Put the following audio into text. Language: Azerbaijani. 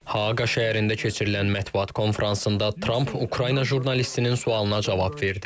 Haaqa şəhərində keçirilən mətbuat konfransında Tramp Ukrayna jurnalistinin sualına cavab verdi.